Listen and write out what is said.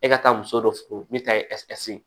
E ka taa muso dɔ fɛ min ta ye